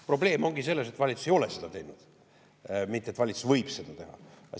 Probleem ongi selles, et valitsus ei ole seda teinud, mitte et valitsus võib seda teha.